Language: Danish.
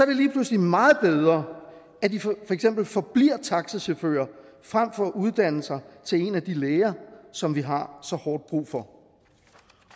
det lige pludselig meget bedre at de for eksempel forbliver taxichauffører frem for at uddanne sig til en af de læger som vi har så hårdt brug for